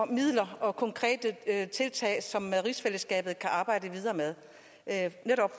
midler og konkrete tiltag som rigsfællesskabet kan arbejde videre med